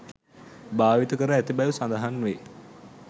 භාවිත කර ඇති බැව් සඳහන් වේ.